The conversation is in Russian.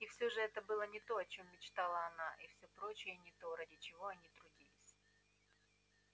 и всё же это было не то о чём мечтала она и все прочие не то ради чего они трудились